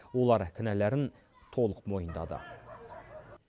олар кінәларін толық мойындады